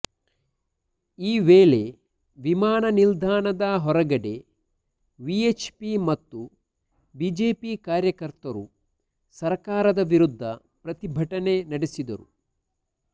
ಈ ವೇಳೆವಿಮಾನ ನಿಲ್ದಾಣದ ಹೊರಗಡೆ ವಿಎಚ್ ಪಿ ಮತ್ತು ಬಿಜೆಪಿ ಕಾರ್ಯಕರ್ತರು ಸರ್ಕಾರದ ವಿರುದ್ಧ ಪ್ರತಿಭಟನೆ ನಡೆಸಿದರು